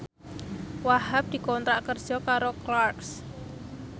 Wahhab dikontrak kerja karo Clarks